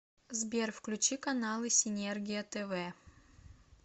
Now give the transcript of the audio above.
сбер включи каналы синергия тв